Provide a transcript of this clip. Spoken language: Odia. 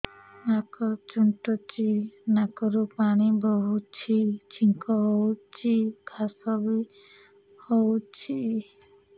ନାକ ଚୁଣ୍ଟୁଚି ନାକରୁ ପାଣି ବହୁଛି ଛିଙ୍କ ହଉଚି ଖାସ ବି ହଉଚି